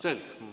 Selge.